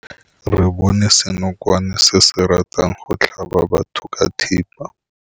Re bone senokwane se se ratang go tlhaba batho ka thipa.